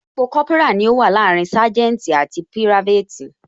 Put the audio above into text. Ipò Kópírà ni ó wà láàrin saganti àti pirafeti